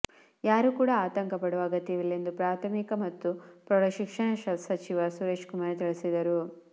ಯಾರೂ ಕೂಡ ಆತಂಕ ಪಡುವ ಅಗತ್ಯ ಇಲ್ಲ ಎಂದು ಪ್ರಾಥಮಿಕ ಮತ್ತು ಪ್ರೌಢಶಿಕ್ಷಣ ಸಚಿವ ಸುರೇಶ್ ಕುಮಾರ್ ತಿಳಿಸಿದರು